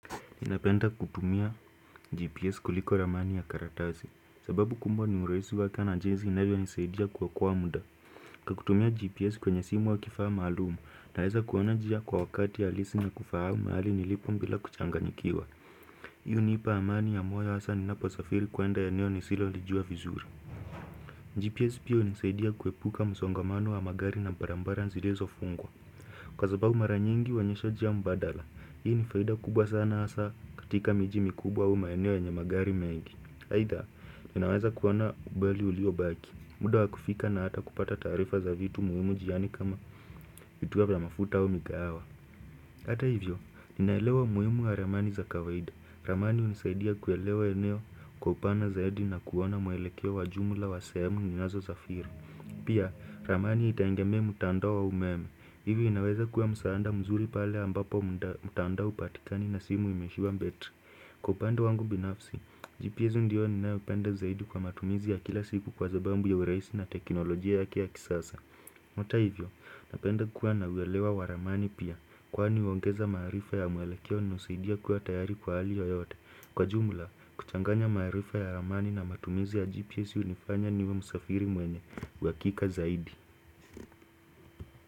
Ninapenda kutumia GPS kuliko ramani ya karatasi. Sababu kumbwa ni uraisi wake na jinzi inavyo nisaidia kuokoa muda. Kutumia GPS kwenye simu au kifaa maalumu, naeza kuona njia kwa wakati halisi na kufahamu mahali nilipo mbila kuchanganyikiwa. Hii hunipa amani ya moyo hasa ninaposafiri kuenda ya eneo nisio lijua vizuri. GPS pia hunisaidia kuepuka msongamano wa magari na barambara nzilezo fungwa. Kwa sababu mara nyingi huonyesha njia mbadala. Hii ni faida kubwa sana asa katika miji mikubwa au maeneo yenye magari mengi aidha, ninaweza kuona ubali ulio baki muda wa kufika na hata kupata tarifa za vitu muhimu jiani kama vituo vya mafuta au mikahawa Hata hivyo, ninaelewa umuhimu wa ramani za kawaida Ramani hunisaidia kuelewa eneo kwa upana zaidi na kuona mwelekeo wa jumla wa sehemu ninazosafiri Pia, ramani itaengemea mutandao au umeme Hivyo inaweza kuwa msaanda mzuri pale ambapo mtandao hupatikani na simu imeishiwa mbetri. Kwa upande wangu binafsi, GPS ndio ninayopenda zaidi kwa matumizi ya kila siku kwa zabambu ya uraisi na teknolojia yake ya kisasa. Hata hivyo, napenda kuwa na uelewa waramani pia. Kwani huongeza maarifa ya mwelekeo na husaidia kuwa tayari kwa hali yoyote. Kwa jumla, kuchanganya marifa ya waramani na matumizi ya GPS unifanya niwe musafiri mwenye, uhakika zaidi.